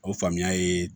O faamuya ye